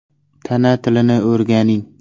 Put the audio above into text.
Tana tilini o‘rganing!.